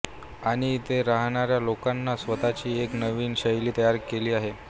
आणि इथे राहणाऱ्या लोकांनी स्वतःची एक नवीन शैली तयार केली आहे